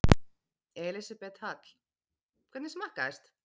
Elísabet Hall: Hvernig smakkaðist?